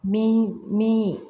Min min